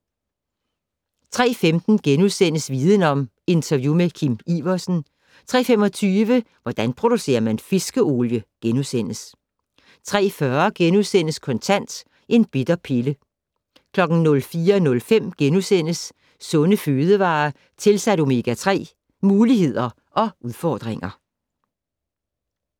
03:15: Viden Om: Interview med Kim Iversen * 03:25: Hvordan producerer man fiskeolie? * 03:40: Kontant: En bitter pille * 04:05: Sunde fødevarer tilsat omega-3 - Muligheder og udfordringer *